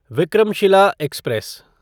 Vikramshila express